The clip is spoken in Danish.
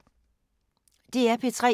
DR P3